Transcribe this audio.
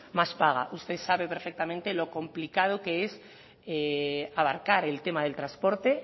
más paga usted sabe perfectamente lo complicado que es abarcar el tema del transporte